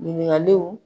Ɲininkaliw